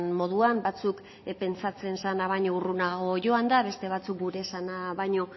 moduan batzuk pentsatzen zena baina urrunago joanda beste batzuk gure esana baina